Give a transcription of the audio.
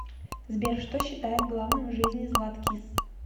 сбер что считает главным в жизни златкис